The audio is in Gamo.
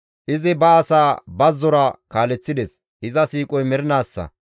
Izi ba asaa bazzora kaaleththides; iza siiqoy mernaassa.